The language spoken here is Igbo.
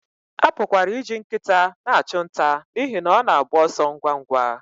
A pụkwara iji nkịta na-achụ nta n'ihi na ọ na-agba ọsọ ngwa ngwa